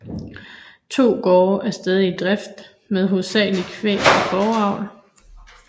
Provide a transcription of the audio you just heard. To gårde er stadig i drift med hovedsagelig kvæg og fåreavl